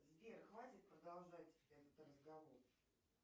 сбер хватит продолжать этот разговор